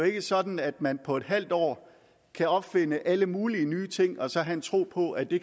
ikke sådan at man på en halv år kan opfinde alle mulige nye ting og så have en tro på at det